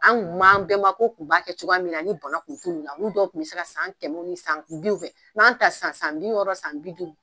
An tun b'an an bɛnbakɛw tun b'a kɛ cogoya min na ni bana kun t'olu la olu dɔw tun bɛ se ka san kɛmɛw ni san biw kɛ wa an ta san san bi wɔɔrɔ san bi duuru